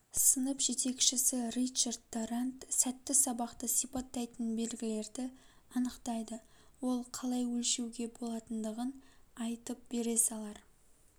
сынып жетекшісі ричард дарант сәтті сабақты сипаттайтын белгілерді анықтайды ол қалай өлшеуге болатындығын айтып бере салар